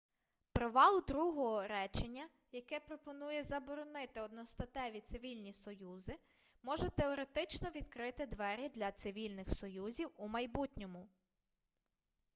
провал другого речення яке пропонує заборонити одностатеві цивільні союзи може теоретично відкрити двері для цивільних союзів у майбутньому